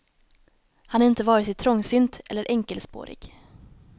Han är inte vare sig trångsynt eller enkelspårig.